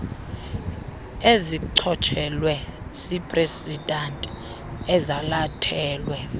ezichotshelwe ziiprezidanti ezalathelwe